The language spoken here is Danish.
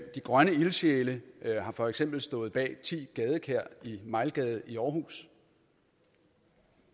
grønne ildsjæle har for eksempel stået bag ti gadekær i mejlgade i aarhus